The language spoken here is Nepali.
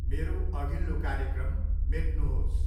मेरो अघिल्लो कार्यक्रम मेट्नुहोस्।